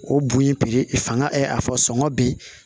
O bon ye fangasɔngɔ bɛ ye